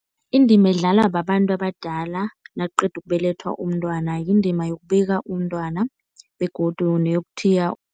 Indima edlalwa babantu abadala nakuqedwa ukubelethwa umntwana, yindima yokubika umntwana begodu neyokuthiya.